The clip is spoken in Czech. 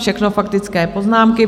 Všechno faktické poznámky.